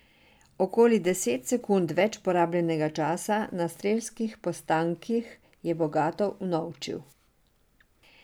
Okoli deset sekund več porabljenega časa na strelskih postankih je bogato unovčil.